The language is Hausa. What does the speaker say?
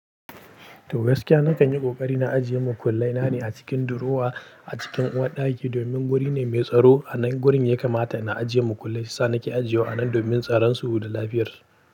To gaskiya nakan yi ƙoƙari na ajiye makullai na ne a cikin durowa a cikin uwar ɗaki domin wuri ne mai tsaro. A nan gurin ya kamata na ajiye makullai saisa nake ajiye wa anan domin tsaronsu da lafiyar su.